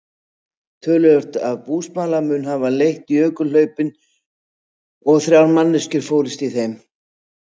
Töluvert af búsmala mun hafa lent í jökulhlaupunum og þrjár manneskjur fórust í þeim.